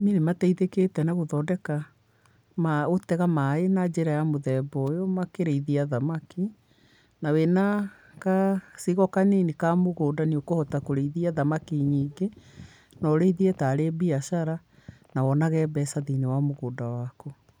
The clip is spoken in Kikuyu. Arimi ni matitheketi na guthondeka maa kutenga mai na njiira ya mutheba uyu makiriithia thamaki na wina ngacigo kanini kamugunda niukuhota kuriithia thamaki nyingi na uriithie taree mbiacara na wonage mbesa thiini wamugunda waku